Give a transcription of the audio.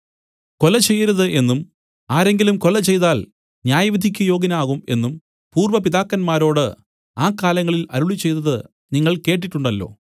കൊല ചെയ്യരുത് എന്നും ആരെങ്കിലും കൊല ചെയ്താൽ ന്യായവിധിയ്ക്ക് യോഗ്യനാകും എന്നും പൂർവ്വപിതാക്കൻമാരോട് ആ കാലങ്ങളിൽ അരുളിച്ചെയ്തത് നിങ്ങൾ കേട്ടിട്ടുണ്ടല്ലോ